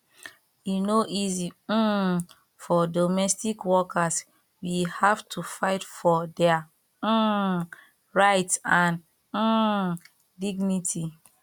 e no easy um for domestic workers we have to fight for dia um rights and um dignity